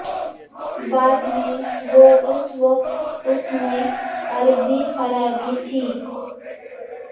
بعد میں وہ اس وقت اس نے عارضی خرابی تھی